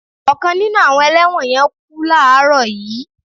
Ọkàn nínu àwọn ẹlẹ́wọ̀n yẹn kú láààrọ̀ yìí